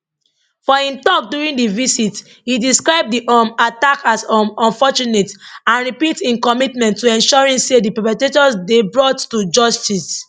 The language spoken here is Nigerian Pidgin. for im tok during di visit e describe di um attack as um unfortunate and repeat im commitment to ensuring say di perpetrators dey brought to justice